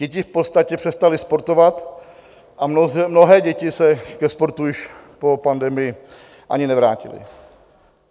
Děti v podstatě přestaly sportovat a mnohé děti se ke sportu již po pandemii ani nevrátily.